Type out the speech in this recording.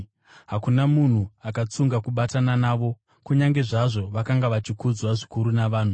Hakuna munhu akatsunga kubatana navo kunyange zvazvo vakanga vachikudzwa zvikuru navanhu.